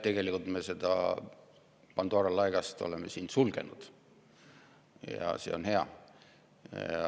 Tegelikult me oleme siin selle Pandora laeka sulgenud ja see on hea.